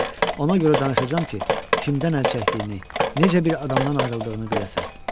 Ona görə danışacam ki, kimdən əl çəkdiyini, necə bir adamdan ayrıldığını biləsən.